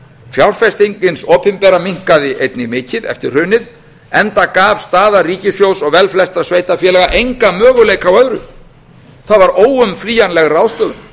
fjárfesting hins opinbera minnkaði einnig mikið eftir hrunið enda gaf staða ríkissjóðs og velflestra sveitarfélaga enga möguleika á öðru það var óumflýjanleg ráðstöfum